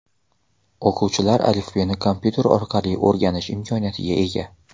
O‘quvchilar alifbeni kompyuter orqali o‘rganish imkoniyatiga ega.